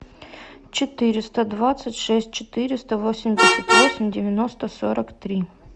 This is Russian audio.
четыреста двадцать шесть четыреста восемьдесят восемь девяносто сорок три